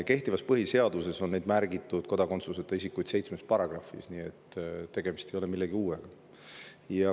Kehtivas põhiseaduses on neid kodakondsuseta isikuid märgitud seitsmes paragrahvis, nii et tegemist ei ole millegi uuega.